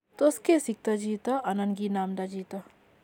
Tot kesikto chito anan ki namnda chito